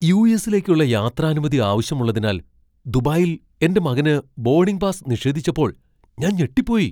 യു.എസ്സിലേക്കുള്ള യാത്രാനുമതി ആവശ്യമുള്ളതിനാൽ ദുബായിൽ എന്റെ മകന് ബോഡിംഗ് പാസ് നിഷേധിച്ചപ്പോൾ ഞാൻ ഞെട്ടിപ്പോയി.